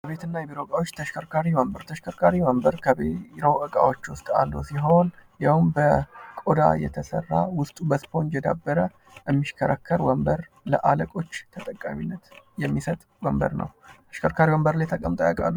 ከቤትና ከቢሮ እቃዎች ተሽከርካሪ ወንበር ተሽከርካሪ ወንበር ከቢሮ እቃዎች ውስጥ አንዱ ሲሆን ይሄውም በቆዳ የተሰራ ውስጡ በስፖንጅ የዳበረ የሚሽከረከር ወንበር ለአለቆች ተጠቃሚነት የሚሰጥ ወንበር ነው። ተሽከርካሪ ወንበር ላይ ተቀምጠው ያውቃሉ?